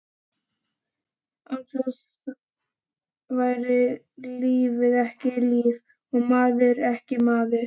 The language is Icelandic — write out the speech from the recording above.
Án þess væri lífið ekki líf, og maðurinn ekki maður.